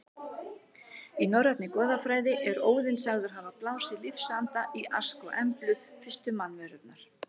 Í norrænni goðafræði er Óðinn sagður hafa blásið lífsanda í Ask og Emblu, fyrstu mannverurnar.